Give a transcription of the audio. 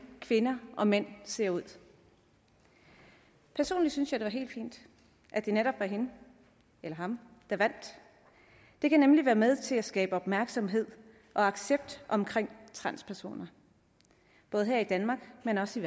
kvinder og mænd ser ud personligt synes jeg at det var helt fint at det netop var hende eller ham der vandt det kan nemlig være med til at skabe opmærksomhed og accept omkring transpersoner både her i danmark men også